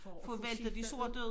For at få skiftet ud